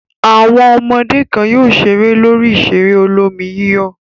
Àwọn ọmọ kan yóò ṣeré lórí ìṣeré olómi-yíyọ̀.